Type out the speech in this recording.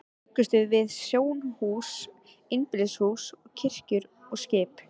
Þá bjuggum við til snjóhús, einbýlishús, kirkjur og skip.